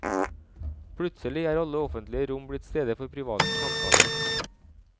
Plutselig er alle offentlige rom blitt steder for private samtaler.